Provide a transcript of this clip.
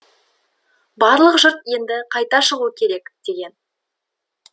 барлық жұрт енді қайта шығу керек деген